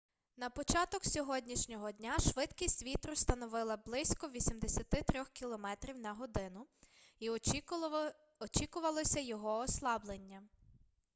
на початок сьогоднішнього дня швидкість вітру становила близько 83 км/год і очікувалося його ослаблення